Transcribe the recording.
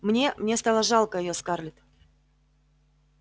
мне мне стало жалко её скарлетт